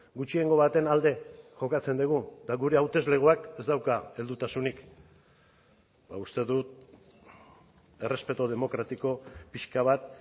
gutxiengo baten alde jokatzen dugu eta gure hauteslegoak ez dauka heldutasunik uste dut errespetu demokratiko pixka bat